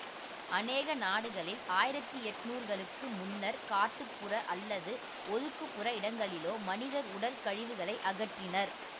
அனேக நாடுகளில் ஆயிரத்தி எண்ணூறுகளுக்கு முன்னர் காட்டுப்புற அல்லது ஒதுக்குபுற இடங்க்களிலோ மனிதர் உடல் கழிவுகளை அகற்றினர்